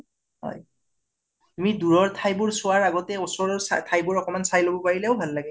হয় । তুমি দুৰৰ ঠাই বোৰ চোৱাৰ আগতে ওচৰৰ ঠাইবোৰ চাই লব পাৰিলেও ভাল লাগে